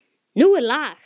Nú er lag!